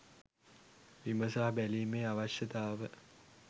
විමසා බැලීමේ අවශ්‍යතාව